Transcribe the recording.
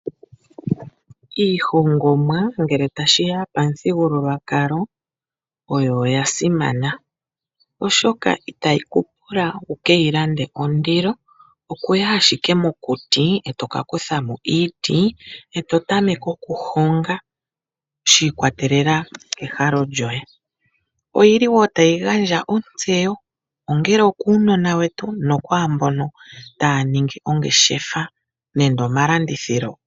Iihongomwa oya simana ngele tashi ya pamuthigululwakalo, oshoka itayi ku pula wu ke yi lande ondilo. Oto yi owala mokuti e to ka kutha mo iiti, eto tameke okuhonga shi ikwatelela kehalo lyoye. Otayi gandja wo ontseyo, ongele okuunona wetu nokwaa mboka taya ningi ongeshefa nenge omalandithilo.